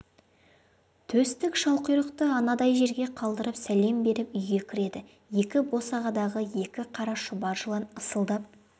төстік шалқұйрықты анадай жерге қалдырып сәлем беріп үйге кіреді екі босағадағы екі қара шұбар жылан ысылдап